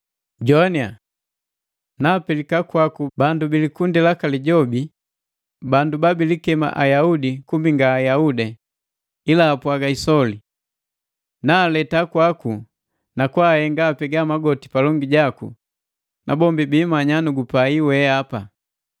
Jowania! Naapelika kwaku bandu bilikundi laka Lijobi, bandu babilikema Ayaudi kumbi nga Ayaudi, ila apwaga isoli. Naaleta kwaku na kwaahenga apega magoti palongi jaku, na bombi biimanya nu gupai weapa.